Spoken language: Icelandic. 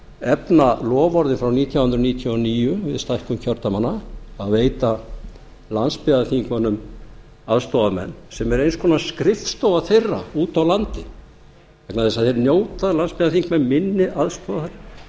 efna loforðin frá nítján hundruð níutíu og níu við stækkun kjördæmanna að veita landsbyggðarþingmönnum aðstoðarmenn sem er eins konar skrifstofa þeirra úti á landi vegna þess að þeir njóta landsbyggðarþingmenn minni aðstoðar